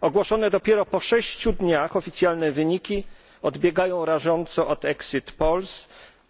Ogłoszone dopiero po sześciu dniach oficjalne wyniki odbiegają rażąco od